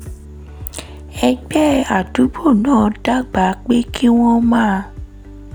ẹgbẹ́ àdúgbò náà dábàá pé kí wọ́n máa